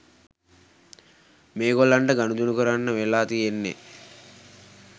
මේගොල්ලන්ට ගනුදෙනු කරන්න වෙලා තියෙන්නේ